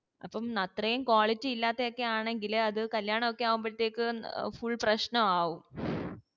അപ്പോം അത്രേ quality ഇല്ലത്തൊക്കെ ആണെങ്കില് അത് കല്യാണൊക്കെ ആകുമ്പോഴത്തേക്ക്പ്ര full പ്രശ്നാകും